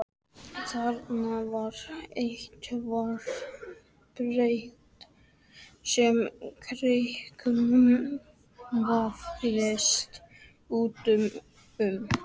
Þarna var eitthvert prik sem kyrkislanga vafðist utan um.